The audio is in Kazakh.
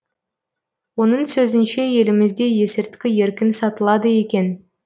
оның сөзінше елімізде есірткі еркін сатылады екен